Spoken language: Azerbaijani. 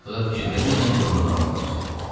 Aclığa fikir vermədən yoluna davam eləyirdi.